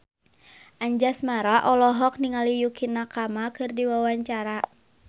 Anjasmara olohok ningali Yukie Nakama keur diwawancara